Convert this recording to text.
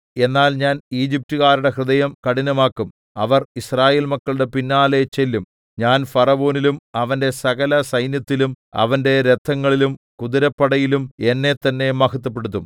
എന്നാൽ ഞാൻ ഈജിപ്റ്റുകാരുടെ ഹൃദയം കഠിനമാക്കും അവർ യിസ്രായേൽ മക്കളുടെ പിന്നാലെ ചെല്ലും ഞാൻ ഫറവോനിലും അവന്റെ സകല സൈന്യത്തിലും അവന്റെ രഥങ്ങളിലും കുതിരപ്പടയിലും എന്നെ തന്നെ മഹത്വപ്പെടുത്തും